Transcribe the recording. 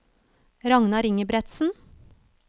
Ragnar Ingebretsen